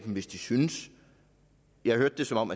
hvis de synes jeg hørte det som om